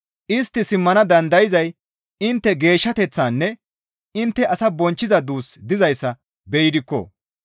Istti simmana dandayzay intte geeshshateththaanne intte ase bonchchiza duus dizayssa be7idikko.